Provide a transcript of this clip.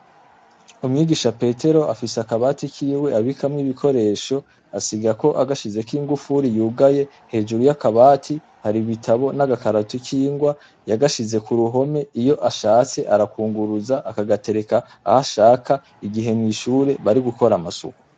Umwigisha petero afise akabati kiwe abikamwo ibikoresho asiga ko agashize koing ufuri yugaye hejuru y'akabati hari ibitabo n'agakaratu k'ingwa yagashize ku ruhome iyo ashatse arakunguruza akagatereka aho ashaka igihe mw'ishure bari gukora amasuku.